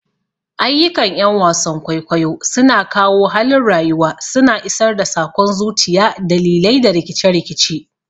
Ayyukan 'yan wasan kwaikwayo suna kawo halin rayuwa, suna isar da sakon zuciya, dalilai, da rikice-rikice.